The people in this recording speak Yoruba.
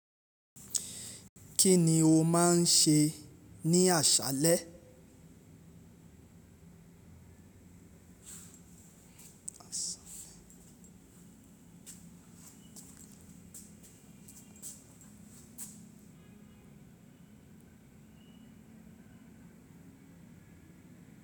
Kí ni o máa ń ṣe ní àṣálẹ́?